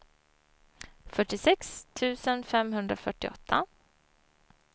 fyrtiosex tusen femhundrafyrtioåtta